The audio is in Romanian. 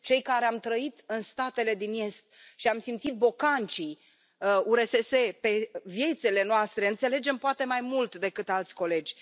Cei care am trăit în statele din est și am simțit bocancii URSS pe viețile noastre înțelegem poate mai mult decât alți colegi.